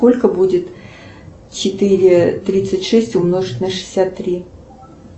сколько будет четыре тридцать шесть умножить на шестьдесят три